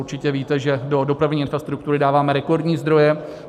Určitě víte, že do dopravní infrastruktury dáváme rekordní zdroje.